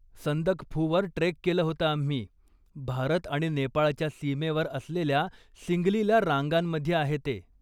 संदकफूवर trek केलं होतं आम्ही, भारत आणि नेपाळच्या सीमेवर असलेल्या सिंगलीला रांगांमध्ये आहे ते.